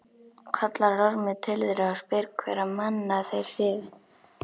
Kallar Ormur til þeirra og spyr hverra manna þeir séu.